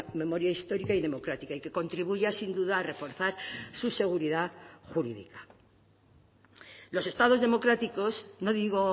memoria histórica y democrática y que contribuya sin duda a reforzar su seguridad jurídica los estados democráticos no digo